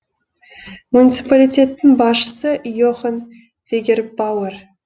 муниципалитеттің басшысы йохан вегербауэр